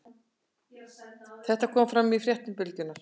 Þetta kom fram í fréttum Bylgjunnar